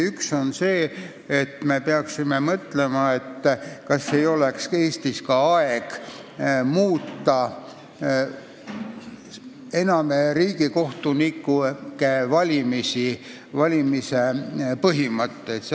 Üks on see, et me peaksime mõtlema, kas ei oleks aeg ka Eestis muuta riigikohtunike valimise põhimõtteid.